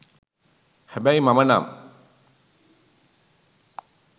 හැබැයි මම නම්